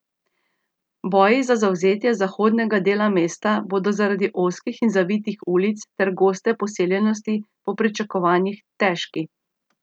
Boji za zavzetje zahodnega dela mesta bodo zaradi ozkih in zavitih ulic ter goste poseljenosti po pričakovanjih težki.